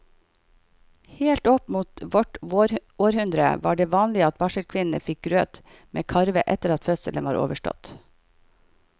Helt opp mot vårt århundre var det vanlig at barselkvinnene fikk grøt med karve etter at fødselen var overstått.